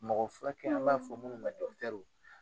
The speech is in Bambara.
Mɔgɔ furakɛ an b'a fɔ munnu ma